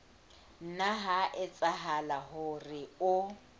nna ha etsahala hore o